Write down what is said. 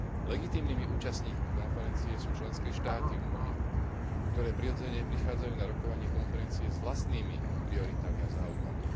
Legitímnymi účastníkmi konferencie sú členské štáty Únie, ktoré prirodzene prichádzajú na rokovanie konferencie s vlastnými prioritami a záujmami.